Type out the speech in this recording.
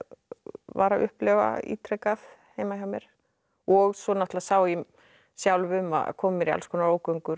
var að upplifa ítrekað heima hjá mér og svo sá ég sjálf um að koma mér í alls konar ógöngur